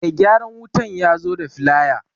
Mai gyaran wutan yazo da filaya